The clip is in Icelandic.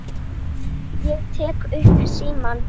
Ég tek upp símann.